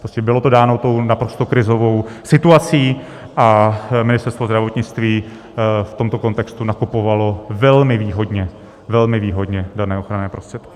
Prostě bylo to dáno tou naprosto krizovou situací a Ministerstvo zdravotnictví v tomto kontextu nakupovalo velmi výhodně, velmi výhodně dané ochranné prostředky.